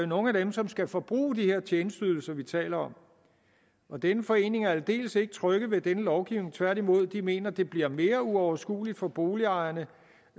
nogle af dem som skal forbruge de her tjenesteydelser vi taler om og denne forening er aldeles ikke tryg ved denne lovgivning tværtimod de mener at det bliver mere uoverskueligt for boligejerne